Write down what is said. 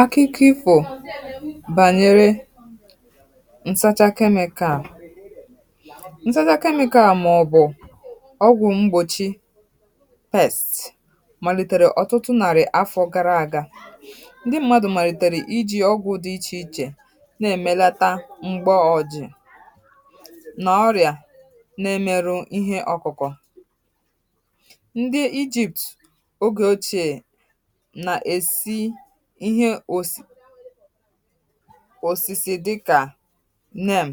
akụkụ ifȯ bànyere ǹsacha kemịkal ǹsacha kemịkal màọ̀bụ̀ ọgwụ̇ m̀gbòchi pests màlìtèrè ọ̀tụtụ nàrị̀ afọ gara àga ndị mmadụ̇ màlìtèrè iji ọgwụ̇ dị ichèichè na-èmelata m̀gbà ọjị̀è nà ọrịà na-emeru ihe ọkụ̇kụ̇ nà-èsi ihe osisi dịkà neem